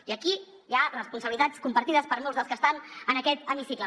i aquí hi ha responsabilitats compartides per molts dels que estan en aquest hemicicle